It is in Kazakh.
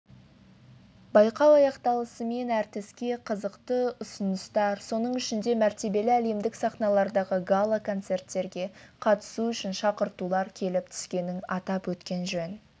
байқау аяқталысымен әртіске қызықты ұсыныстар соның ішінде мәртебелі әлемдік сахналардағы гала-концерттерге қатысу үшін шақыртулар келіп түскенін атап өткен жөн